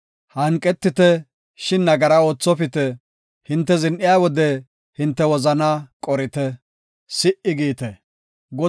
Hanqetite, shin nagara oothopite; hinte zin7iya wode hinte wozanaa qorite; si77i giite. Salah